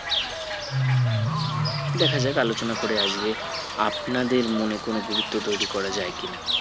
দেখা যাক আলোচনা করে আজকে আপনাদের মনে কোনো গুরুত্ব তৈরী করা যায় কিনা